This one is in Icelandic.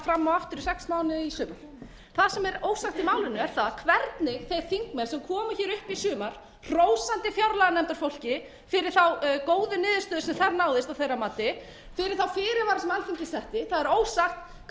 og aftur í sex mánuði í sumar það sem er ósagt í málinu er það hvernig þeir þingmenn sem koma upp í sumar hrósandi fjárlaganefndarfólki fyrir þá góðu niðurstöðu sem þar náðist að þeirra mati þurfi þá fyrirvara sem alþingi setti það er ósagt hvernig fólk hefur turnast fram